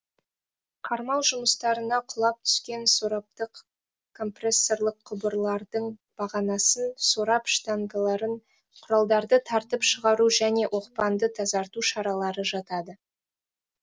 қармау жұмыстарына құлап түскен сораптық компрессорлық құбырлардың бағанасын сорап штангаларын құралдарды тартып шығару және оқпанды тазарту шаралары жатады